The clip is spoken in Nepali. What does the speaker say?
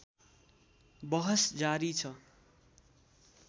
बहस जारी छ